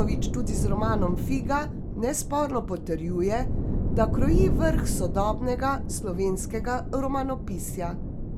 Vojnović tudi z romanom Figa nesporno potrjuje, da kroji vrh sodobnega slovenskega romanopisja.